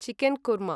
chicken korma